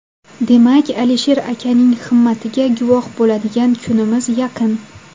Demak, Alisher akaning himmatiga guvoh bo‘ladigan kunimiz yaqin.